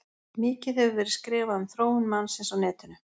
Mikið hefur verið skrifað um þróun mannsins á netinu.